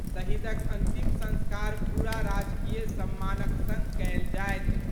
शहीदक अंतिम संस्कार पूरा राजकीय सम्मानक संग कयल जायत।